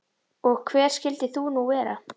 Og hver skyldir þú nú vera?